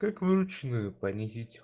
как вручную понизить